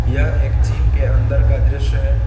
यह एक जिम के अंदर का दृश्य है।